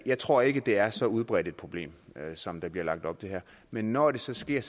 jeg tror ikke det er så udbredt et problem som der bliver lagt op til her men når det så sker